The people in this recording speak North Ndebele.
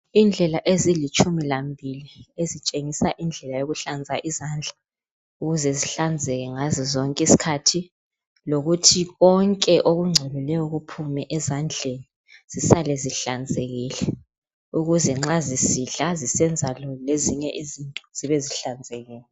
Indlela ezilitshumi lambili ezitshengisa indlela yokuhlanza izandla ukuze zihlanzeke ngazo zonke izikhathi lokuthi konke okungcolileyo kuphume ezandleni zisale zihlanzekile ukuze nxa zisidla zisenza lezinye izinto zibe zihlanzekile.